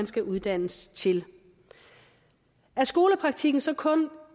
skal uddannes til er skolepraktikken så kun